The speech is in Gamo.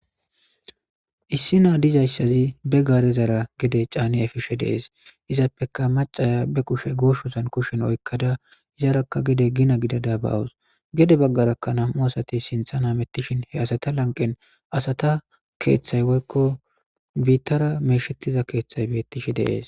issi naa dizayssazi be gaare zara gede caani epishe deees izappeka macaya be kushe gooshosan kushen oykkada izarakka gede gina gidada bawus gede baggarakka nam'u asati sintha namettishin he asata lanqen asata keeththay woykko biittara meeshettiza keeththay bettishe de'es